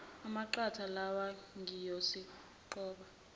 amaqatha lawa ngiyosiqoba